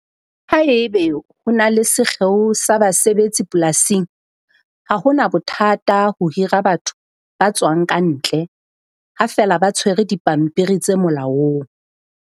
Haebe ho na le sekgeo sa basebetsi polasing, ha hona bothata ho hira batho ba tswang ka ntle ha feela ba tshwere dipampiri tse molaong.